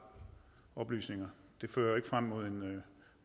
oplysninger